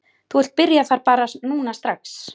Þú vilt byrja þar bara núna strax?